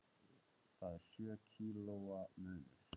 Það er sjö kílóa munur.